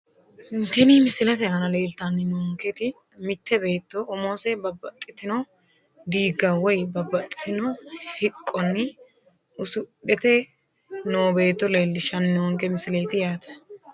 Tini misilete aana leeltanni noonketi mitte beetto umose babbaxxitino diigga woyi babbaxxitino hiqqonni usudhite noo beetto leellishshanni noonke misileeti yaate